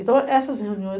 Então, essas reuniões...